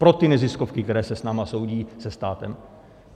Pro ty neziskovky, které se s námi soudí, se státem.